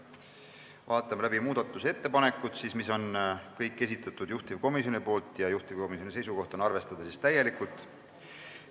Vaatame läbi muudatusettepanekud, mis on kõik juhtivkomisjoni esitatud ja juhtivkomisjoni seisukoht on arvestada täielikult.